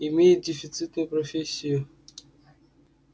имеет дефицитную профессию